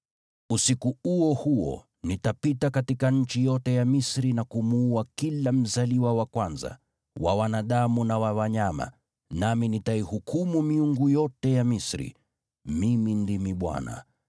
“Usiku huo huo nitapita katika nchi yote ya Misri na kumuua kila mzaliwa wa kwanza, wa wanadamu na wa wanyama, nami nitaihukumu miungu yote ya Misri. Mimi ndimi Bwana .